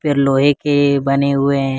लोहे के बने हुए हैं।